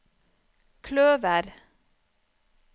kløver